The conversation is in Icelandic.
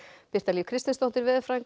Birta Líf Kristinsdóttir veðurfræðingur